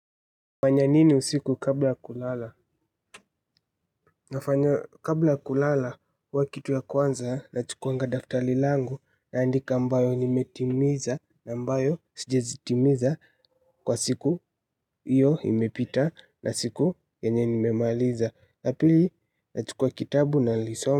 Hufanya nini usiku kabla ya kulala? Nafanya kabla ya kulala huwa kitu ya kwanza nachukunga daftari langu naandika ambayo nimetimiza na ambayo sijazitimiza kwa siku iyo imepita na siku yenye nimemaliza. Na pili nachukua kitabu nalisoma.